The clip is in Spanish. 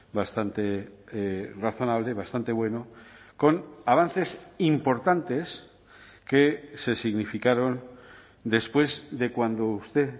bastante razonable bastante bueno con avances importantes que se significaron después de cuando usted